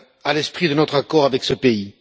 à l'esprit de notre accord avec ce pays.